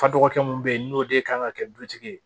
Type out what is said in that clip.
Fa dɔgɔkɛ mun be yen n'o de ye kan ka kɛ dutigi ye